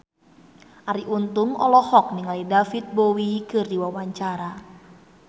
Arie Untung olohok ningali David Bowie keur diwawancara